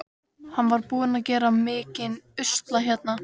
Hann var búinn að gera mikinn usla hérna.